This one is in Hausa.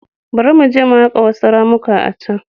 Bari mu je mu haƙa wasu ramuka a can.